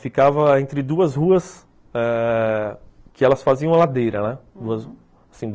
Ficava entre duas ruas ãh que elas faziam a ladeira, né? hum